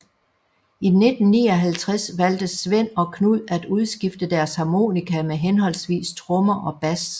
I 1959 valgte Svend og Knud at udskifte deres harmonika med henholdsvis trommer og bas